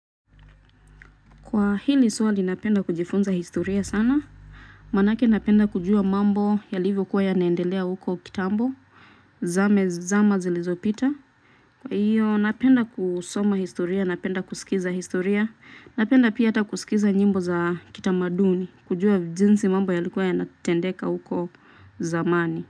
Kwa hili swali napenda kujifunza historia sana. Manake napenda kujua mambo yalivyokuwa yanaendelea huko kitambo. Zama zilizopita. Kwa hiyo napenda kusoma historia, napenda kuskiza historia. Napenda pia hata kuskiza nyimbo za kitamaduni. Kujua jinsi mambo yalikuwa yanatendeka huko zamani.